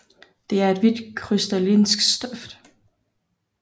Det er et hvidt krystalinsk stof